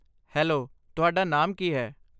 Hello, ਤੁਹਾਡਾ ਨਾਮ ਕੀ ਹੈ?